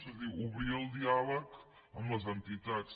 és a dir obrir el diàleg amb les entitats